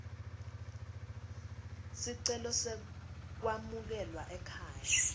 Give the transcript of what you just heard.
sicelo sekwamukelwa ekhaya